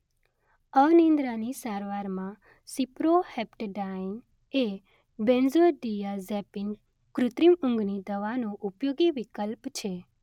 અનિદ્રાની સારવારમાં સિપ્રોહેપ્ટેડાઈન એ બેન્ઝોડિઆઝેપિન કૃત્રિમ ઊંઘની દવાનો ઉપયોગી વિકલ્પ છે.